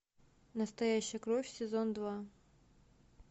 настоящая кровь сезон два